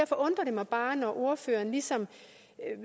mig bare når ordføreren ligesom